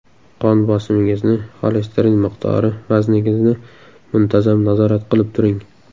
Qon bosimingizni, xolesterin miqdori, vazningizni muntazam nazorat qilib turing.